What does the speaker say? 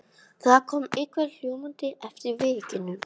Það kom einhver hjólandi eftir veginum.